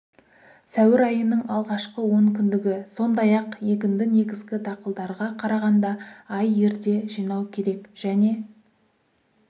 сәуір айының алғашқы онкүндігі сондай-ақ егінді негізгі дақылдарға қарағанда ай ерте жинау керек және